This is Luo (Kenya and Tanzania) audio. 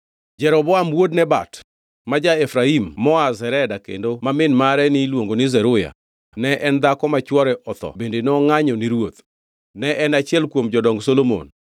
Jeroboam wuod Nebat ma ja-Efraim moa Zereda kendo ma min mare niluongo ni Zeruya ne en dhako ma chwore otho bende nongʼanyo ni ruoth. Ne en achiel kuom jodong Solomon.